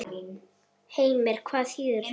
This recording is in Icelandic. Heimir: Hvað þýðir það?